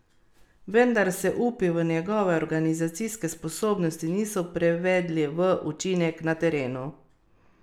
Vendar se upi v njegove organizacijske sposobnosti niso prevedli v učinek na terenu.